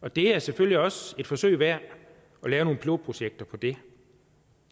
og det er selvfølgelig også et forsøg værd at lave nogle pilotprojekter på det